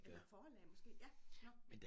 Eller forlag måske ja nåh